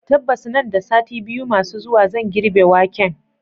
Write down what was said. tabbas nan da sati biyu masu zuwa zan girbe waken.